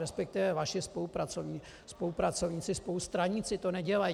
Respektive vaši spolupracovníci, spolustraníci, to nedělají.